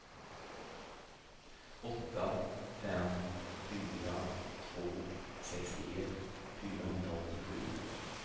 åtta fem fyra två sextioett fyrahundraåttiosju